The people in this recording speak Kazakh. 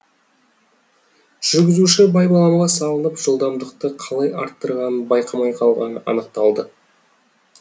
жүргізуші байбаламға салынып жылдамдықты қалай арттырғанын байқамай қалғаны анықталды